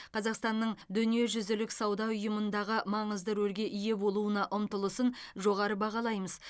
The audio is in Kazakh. қазақстанның дүниежүзілік сауда ұйымындағы маңызды рөлге ие болуына ұмтылысын жоғары бағалаймыз